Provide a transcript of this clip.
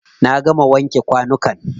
Na gama wanke kwanukan.